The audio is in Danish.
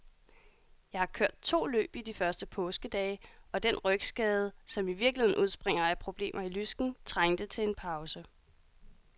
Jeg har kørt to løb i de første påskedage, og den rygskade, som i virkeligheden udspringer af problemer i lysken, trængte til en pause.